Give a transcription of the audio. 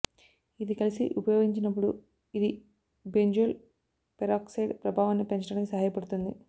ఇది కలిసి ఉపయోగించినప్పుడు ఇది బెంజోల్ పెరాక్సైడ్ ప్రభావాన్ని పెంచడానికి సహాయపడుతుంది